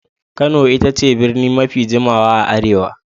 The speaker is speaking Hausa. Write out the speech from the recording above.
Kano ita ce birni mafi jimawa a Arewa.